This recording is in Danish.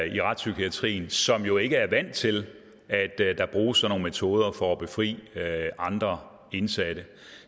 i retspsykiatrien som jo ikke er vant til at der bruges sådan nogle metoder for at befri andre indsatte